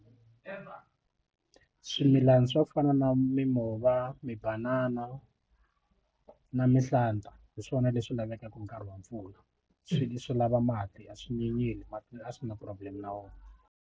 Swimilana swa ku fana na mimova mibanana na mihlata hi swona leswi lavekaka nkarhi wa mpfula swilo swi lava mati a swi nyenyeli mati a swi na problem na wona.